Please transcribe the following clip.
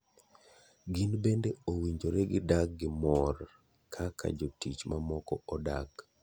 Gin bende owinjore gi dag gi mor kaka jotich mamoko odak.